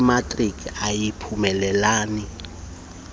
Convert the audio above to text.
imatriki angayiphumeleli uyintombi